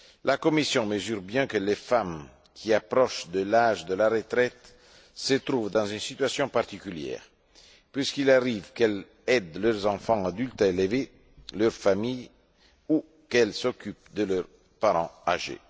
La Commission mesure combien les femmes qui approchent de l'âge de la retraite se trouvent dans une situation particulière, puisqu'il arrive qu'elles aident leurs enfants adultes à élever leur famille ou qu'elles s'occupent de leurs parents âgés.